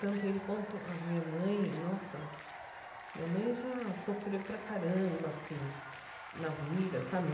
Tanto ele quanto a minha mãe, nossa... Minha mãe já sofreu para caramba, assim, na vida, sabe?